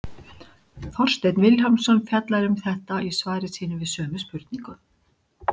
Þorsteinn Vilhjálmsson fjallar um þetta í svari sínu við sömu spurningu.